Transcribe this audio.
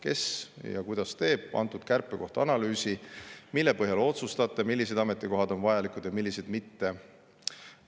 Kes ja kuidas teeb antud kärpe kohta analüüsi ning mille põhjal otsustate, millised ametikohad on vajalikud ja millised mitte?